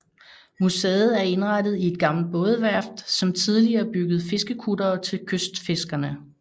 Museet er indrettet i et gammelt bådeværft som tidligere byggede fiskekuttere til kystfiskerne